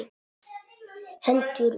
Hendur mínar.